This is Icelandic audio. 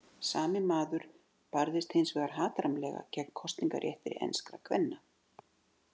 Sami maður barðist hins vegar hatrammlega gegn kosningarétti enskra kvenna.